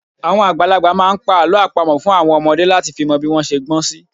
Àwọn àgbàlagbà máa ń pa àlọ́ àpamọ̀ fún àwọn ọmọdé láti fi mọ bí wọ́n ṣe gbọ́ sí